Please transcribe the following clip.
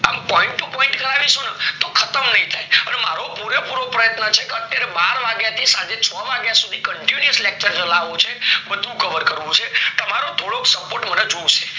અમ point to point કરાવીશું તો ખતમ નય થાય હવે મારો પૂરે પૂરો પ્રયત્ન છે કે બાર વાગેથી સાંજના છ વાગ્યા સુથી continuous lecture ચલાવો છે બધું cover કરવું છે તમારો થોડોક support મને જોવો છે